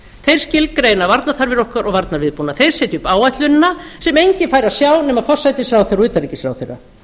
þeir skilgreina varnarþarfir okkar og varnarviðbúnað þeir setja upp áætlunina sem enginn fær að sjá nema forsætisráðherra og utanríkisráðherra